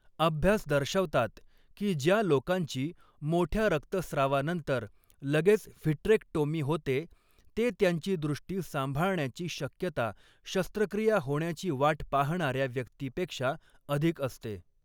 अभ्यास दर्शवतात, की ज्या लोकांची मोठ्या रक्तस्रावानंतर लगेच व्हिट्रेक्टोमी होते, ते त्यांची दृष्टी सांभाळण्याची शक्यता शस्त्रक्रिया होण्याची वाट पाहणाऱ्या व्यक्तीपेक्षा अधिक असते.